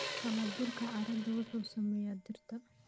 Halabuurka carradu wuxuu saameeyaa dhirta.